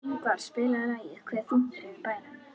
Ingvar, spilaðu lagið „Hve þungt er yfir bænum“.